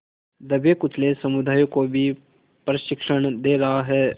दबेकुचले समुदायों को भी प्रशिक्षण दे रहा है